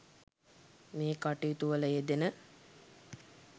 මේ කටයුතු වල යෙදෙන